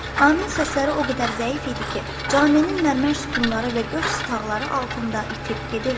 Amin səsləri o qədər zəif idi ki, Cami'nin mərmər sütunları və göf stalaqları altında itib gedirdi.